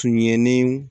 Tun yelen